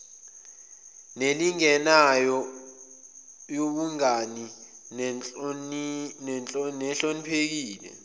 nelinganayo yobungane nehloniphekile